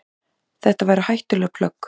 Þetta væru hættuleg plögg.